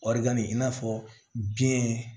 Wari i n'a fɔ biyɛn